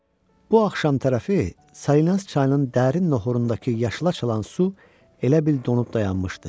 Bu axşam tərəfi Salina çayının dərin noxurundakı yaşıl açılan su elə bil donub dayanmışdı.